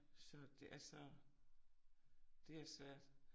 Så det altså det er svært